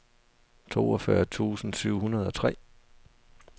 toogfyrre tusind syv hundrede og tre